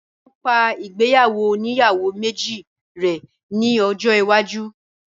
Óò yẹ kí wọ́n pa ìgbéyàwó oníyàwó méjì rẹ́ ní ọjọ́ iwájú